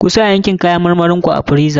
Kusa yankin kayan marmarin ku a friza.